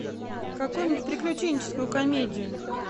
какую нибудь приключенческую комедию